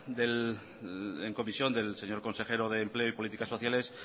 en comisión del señor consejero de empleo y políticas sociales